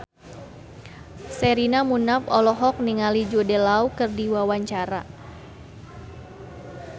Sherina Munaf olohok ningali Jude Law keur diwawancara